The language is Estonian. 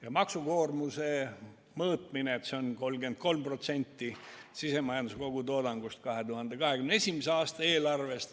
Ja maksukoormuse mõõtmine – see on 33% sisemajanduse kogutoodangust 2021. aasta eelarves.